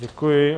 Děkuji.